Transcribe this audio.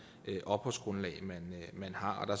opholdsgrundlag man har og